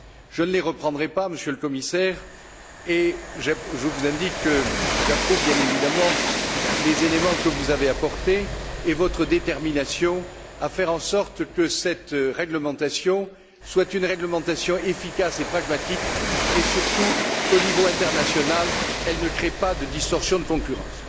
Je ne les reprendrai pas, Monsieur le Commissaire, et je vous indique que j'approuve bien évidemment les éléments que vous avez apportés et votre détermination à faire en sorte que cette réglementation soit une réglementation efficace et pragmatique et surtout, qu'au niveau international, elle ne crée pas de distorsion de concurrence.